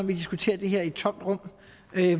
vi diskuterer det her i et tomt rum